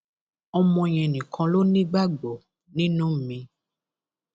ọmọ yẹn nìkan ló nígbàgbọ nínú mi